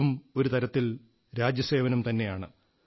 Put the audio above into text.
ഇതും ഒരു തരത്തിൽ രാജ്യസേവനം തന്നെയാണ്